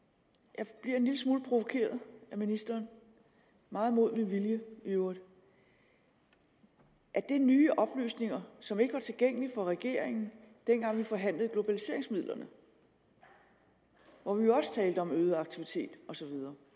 jeg bliver en lille smule provokeret af ministeren meget mod min vilje i øvrigt er det nye oplysninger som ikke var tilgængelige for regeringen dengang vi forhandlede globaliseringsmidlerne hvor vi jo også talte om øget aktivitet osv